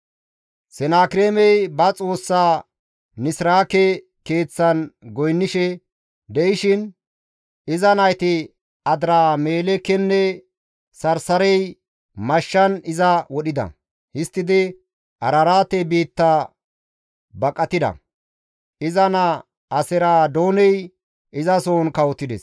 Sanaakireemi ba xoossaa Nisraake keeththan goynnishe de7ishin, iza nayti Adiramelekeynne Sarsarey mashshan iza wodhida. Histtidi Araraate biitta baqatida. Iza naa Aseradooney izasohon kawotides.